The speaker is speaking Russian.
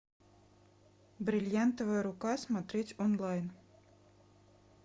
бриллиантовая рука смотреть онлайн